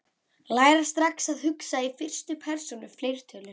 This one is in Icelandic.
Læra strax að hugsa í fyrstu persónu fleirtölu